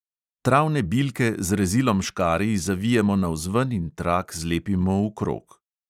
Travne bilke z rezilom škarij zavijemo navzven in trak zlepimo v krog.